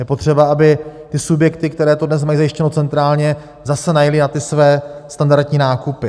Je potřeba, aby ty subjekty, které to dnes mají zajištěno centrálně, zase najely na ty své standardní nákupy.